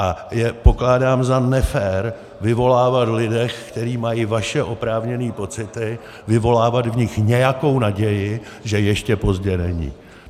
A pokládám za nefér, vyvolávat v lidech, kteří mají vaše oprávněné pocity, vyvolávat v nich nějakou naději, že ještě pozdě není.